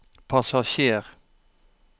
passasjer